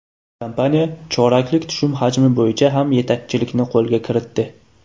Kompaniya choraklik tushum hajmi bo‘yicha ham yetakchilikni qo‘lga kiritdi.